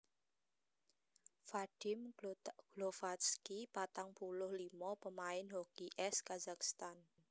Vadim Glovatsky patang puluh limo pamain hoki ès Kazakhstan